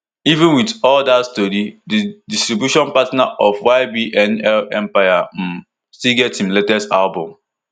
even wit all dat tori di distribution partner of ybnl empire um still get im latest album